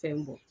Fɛn bɔ